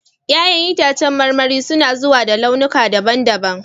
Ya'yan itacen marmari suna zuwa da launuka daban-daban.